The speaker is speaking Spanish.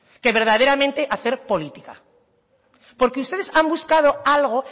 que verdaderamente hacer política porque ustedes han buscado algo